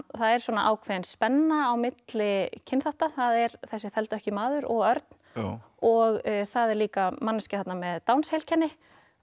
það er svona ákveðin spenna á milli kynþátta það er þessi þeldökki maður og Örn og það er líka manneskja þarna með Downs heilkenni